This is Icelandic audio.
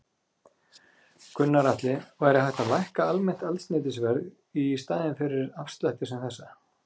Gunnar Atli: Væri hægt að lækka almennt eldsneytisverð í staðinn fyrir afslætti sem þessa?